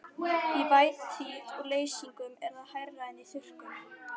Í vætutíð og leysingum er það hærra en í þurrkum.